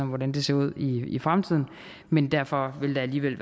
hvordan det ser ud i fremtiden men derfor vil der alligevel